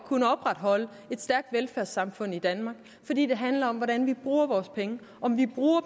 kunnet opretholde et stærkt velfærdssamfund i danmark fordi det handler om hvordan vi bruger vores penge om vi bruger